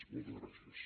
moltes gràcies